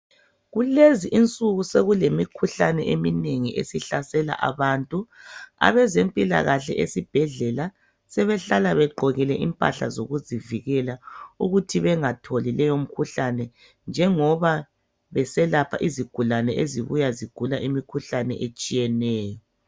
Kulezi insuku sokulemikhuhlane eminengi esihlasela abantu. Abezempilakahle esibhedlela sebehlala begqokile impahla zokuzivikela ukuthi bengatholi leyo mkhuhlane njengoba beselapha izigulane ezibuya zigula imikhuhlane etshiyeneyo.